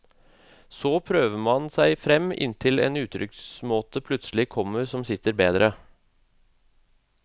Så prøver man seg frem inntil en uttrykksmåte plutselig kommer som sitter bedre.